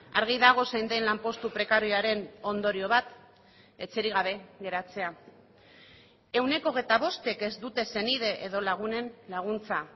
argi dago zein den lanpostu prekarioaren ondorio bat etxerik gabe geratzea ehuneko hogeita bostek ez dute senide edo lagunen laguntza